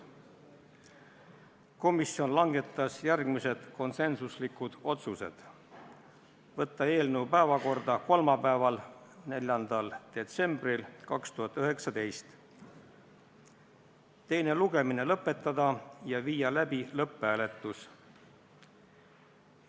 Komisjon langetas järgmised konsensuslikud otsused: võtta eelnõu päevakorda kolmapäevaks, 4. detsembriks 2019, teine lugemine lõpetada ja viia läbi lõpphääletus.